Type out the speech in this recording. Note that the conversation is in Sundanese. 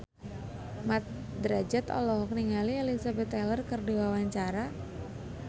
Mat Drajat olohok ningali Elizabeth Taylor keur diwawancara